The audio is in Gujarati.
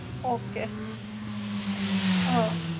Okay. હા.